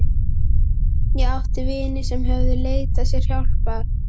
Ég átti vini sem höfðu leitað sér hjálpar.